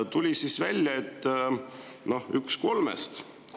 " Tuleb välja, et on üks kolmest.